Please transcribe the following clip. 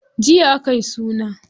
Jiya akayi suna.